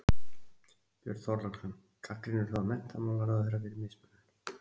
Björn Þorláksson: Gagnrýnirðu þá menntamálaráðherra fyrir mismunun?